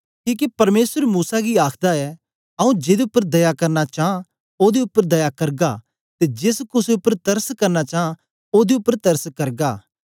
किके परमेसर मूसा गी आखदा ऐ आंऊँ जेदे उपर दया करना चां ओदे उपर दया करगा ते जेस कुसे उपर तरस करना चां ओदे उपर तरस करगा